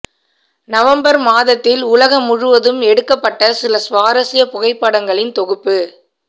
November மாதத்தில் உலகம் முழுவதும் எடுக்கப்பட்ட சில சுவாரஸ்ய புகைப்படங்களின் தொகுப்பு